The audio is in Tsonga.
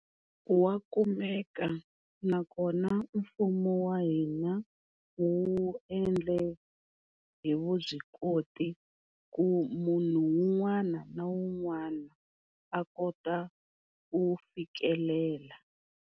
Wa kumeka nakona mfumo wa hina wu endle hi vubyikoti ku munhu un'wana na un'wana a kota ku fikelela.